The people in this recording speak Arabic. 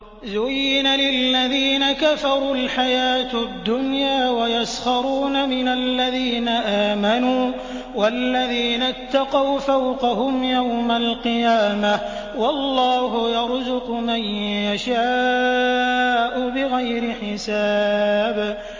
زُيِّنَ لِلَّذِينَ كَفَرُوا الْحَيَاةُ الدُّنْيَا وَيَسْخَرُونَ مِنَ الَّذِينَ آمَنُوا ۘ وَالَّذِينَ اتَّقَوْا فَوْقَهُمْ يَوْمَ الْقِيَامَةِ ۗ وَاللَّهُ يَرْزُقُ مَن يَشَاءُ بِغَيْرِ حِسَابٍ